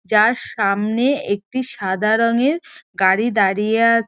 যার সামনে একটি সাদা রঙের গাড়ি দাঁড়িয়ে আ--